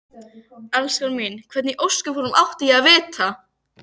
Elskan mín. hvernig í ósköpunum átti ég að vita.